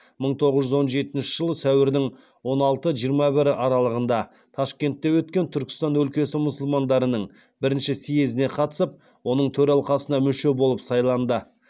мың тоғыз жүз он жетінші жылы сәуірдің он алты жиырма бірі аралығында ташкентте өткен түркістан өлкесі мұсылмандарының бірінші съезіне қатысып оның төралқасына мүше болып сайланды